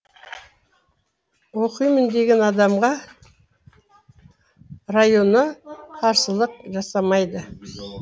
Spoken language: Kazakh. оқимын деген адамға районо қарсылық жасамайды